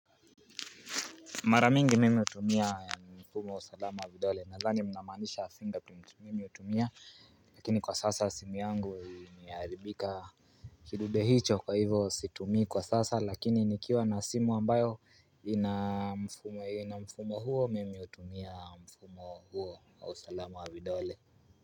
Maramingi mimi hutumia mfumo wa salama wa vidole nadhani mnamaanisha fingerprint mimi hutumia. Lakini kwa sasa simu yangu imeharibika kidudehicho kwa hivo situmii kwa sasa lakini nikiwa na simu ambayo ina mfumo huo mimi hutumia mfumo huo au usalama wa vidole.